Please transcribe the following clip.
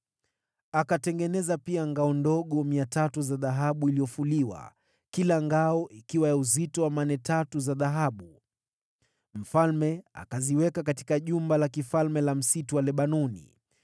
Akatengeneza pia ngao ndogo 300 za dhahabu iliyofuliwa, kila ngao ikiwa na uzito wa mane tatu za dhahabu. Mfalme akaziweka katika Jumba la Kifalme la Msitu wa Lebanoni.